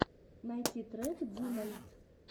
найти трек динальт